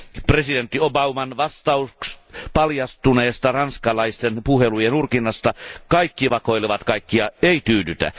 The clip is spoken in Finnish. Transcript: Presidentti Barack Obaman vastaus paljastuneesta ranskalaisten puhelujen urkinnasta kaikki vakoilevat kaikkia ei tyydytä.